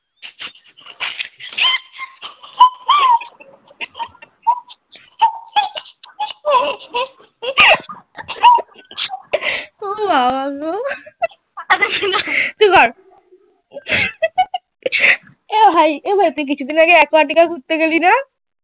এ ভাই ভাই তুই কিছুদিন আগে aquatica ঘুরতে গেলি না?